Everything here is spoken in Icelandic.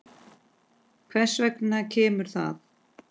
Hvers vegna kemur það?